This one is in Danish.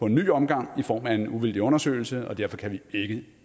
en ny omgang i form af en uvildig undersøgelse og derfor kan vi ikke